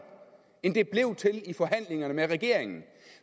end det blev til i forhandlingerne med regeringen